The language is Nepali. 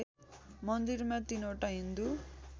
मन्दिरमा तीनवटा हिन्दू